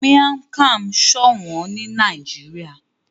Miang Kham sọ òwòn ni Nàìjíríà